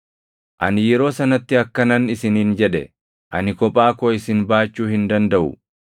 Ani yeroo sanatti akkanan isiniin jedhe; “Ani kophaa koo isin baachuu hin dandaʼu.